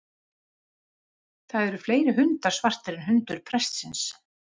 Það eru fleiri hundar svartir en hundurinn prestsins.